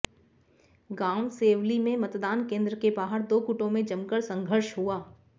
गांव सेवली में मतदान केन्द्र के बाहर दो गुटों में जमकर संघर्ष हुआ